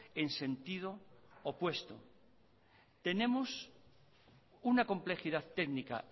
en sentido opuesto tenemos una complejidad técnica